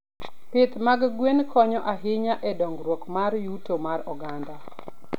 Pith mag gwen konyo ahinya e dongruok mar yuto mar oganda.